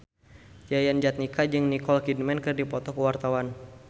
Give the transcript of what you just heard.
Yayan Jatnika jeung Nicole Kidman keur dipoto ku wartawan